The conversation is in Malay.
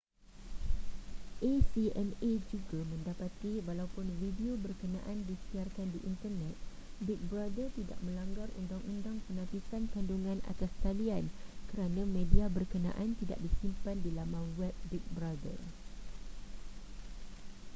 acma juga mendapati walaupun video berkenaan disiarkan di internet big brother tidak melanggar undang-undang penapisan kandungan atas talian kerana media berkenaan tidak disimpan di laman web big brother